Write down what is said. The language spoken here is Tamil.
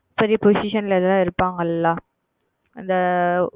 பெரிய Position இல் இருப்பார்கள் அல்லவா அந்த